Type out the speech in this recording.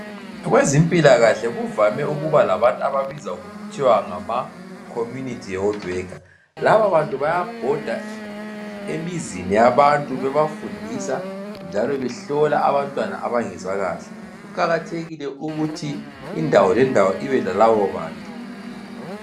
Kwezempilakahle kuvame ukuba labantu ababizwa ngokuthiwa ngama (Community Health Worker)laba bantu bayabhoda emizini yabantu bebafundisa njalo behlola abantwana abangezwa kahle .kuqakathekile ukuthi indawo ngendawo ibe lalabo bantu.